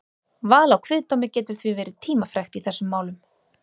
Val á kviðdómi getur því verið tímafrekt í þessum málum.